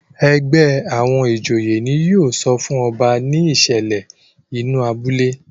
ègbé àwọn ìjòyè ní yóò sọfún ọba ní ìsèlè inú abúlé.